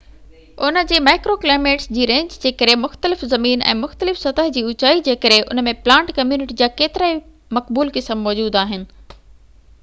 ان جي micro climates جي range جي ڪري مختلف زمين ۽ مختلف سطح جي اوچائي جي ڪري ان ۾ پلانٽ ڪميونٽي جا ڪيترائي مقبول قسم موجود آهن